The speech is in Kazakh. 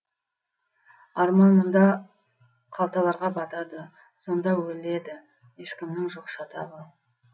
арман мұнда қалталарға батады сонда өледі ешкімнің жоқ шатағы